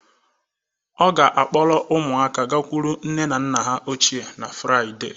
Ọ ga-akpọrọ ụmụaka gakwuru nne na nna ha ochie na Fraịde